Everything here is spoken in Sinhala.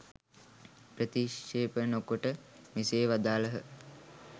ප්‍රතික්‍ෂේප නොකොට මෙසේ වදාළහ.